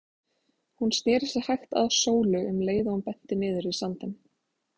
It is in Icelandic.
Hún sneri sér hægt að Sólu um leið og hún benti niður í sandinn.